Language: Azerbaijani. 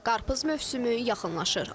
Qarpız mövsümü yaxınlaşır.